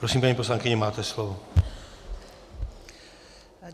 Prosím, paní poslankyně, máte slovo.